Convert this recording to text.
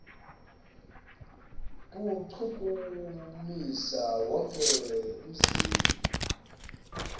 kuwuchukumisa wonke umzimba